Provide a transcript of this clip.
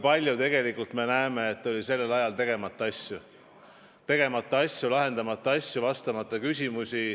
Aga tegelikult me näeme, kui palju oli sellel ajal tegemata asju, lahendamata asju, vastamata küsimusi.